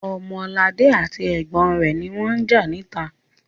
Ọmọladé àti ẹ̀gbọ́n rẹ̀ ni wọ́n ń jà níta.